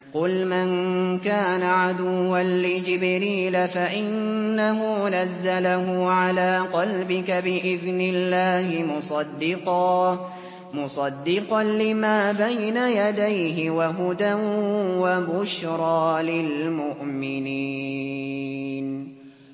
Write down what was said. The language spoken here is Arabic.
قُلْ مَن كَانَ عَدُوًّا لِّجِبْرِيلَ فَإِنَّهُ نَزَّلَهُ عَلَىٰ قَلْبِكَ بِإِذْنِ اللَّهِ مُصَدِّقًا لِّمَا بَيْنَ يَدَيْهِ وَهُدًى وَبُشْرَىٰ لِلْمُؤْمِنِينَ